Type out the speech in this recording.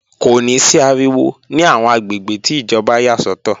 Kò ní sí ariwo ní àwọn àgbègbè tí ìjọba yà sọ́tọ̀